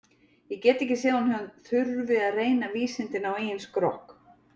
Ég get ekki séð að hún þurfi að reyna vísindin á eigin skrokk.